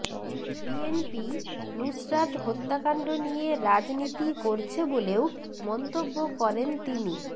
BNP Nusrat হত্যাকাণ্ড নিয়ে রাজনীতি করছে বলেও মন্তব্য করেন তিনি